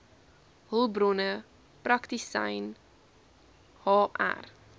hulpbronne praktisyn hr